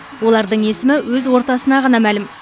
олардың есімі өз ортасына ғана мәлім